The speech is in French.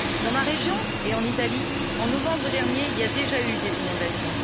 Dans ma région et en Italie, en novembre dernier, il y a déjà eu des inondations.